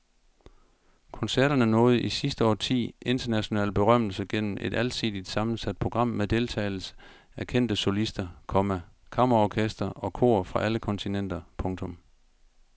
Koncerterne nåede i sidste årti international berømmelse gennem et alsidigt sammensat program med deltagelse af kendte solister, komma kammerorkestre og kor fra alle kontinenter. punktum